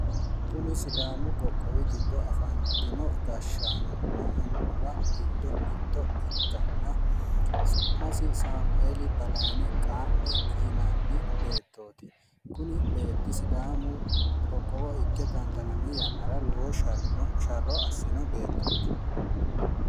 Kuni sidaamu qoqqowi giddo afantino gashshaanonna annuwa giddo mitto ikkanna, su'masi Saamueeli Balayiine Qaa'me yinanni beettoti. Kuni beetti sidaamu qiqqowo adhi yannara lowo sharro assino beettooti.